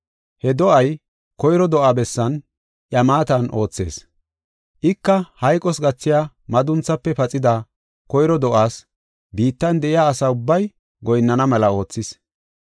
He do7ay koyro do7aa bessan, iya maatan oothees. Ika hayqos gathiya madunthaafe paxida koyro do7aas; biittan de7iya asa ubbay goyinnana mela oothees.